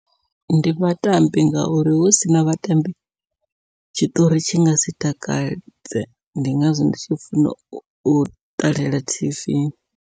Ndi vhatambi ngauri husina vhatambi tshitori tshi ngasi takadze, ndi ngazwo ndi tshi funa u ṱalela tv.